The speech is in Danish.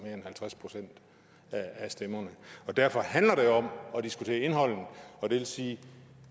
end halvtreds procent af stemmerne og derfor handler det om at diskutere indholdet og det vil sige at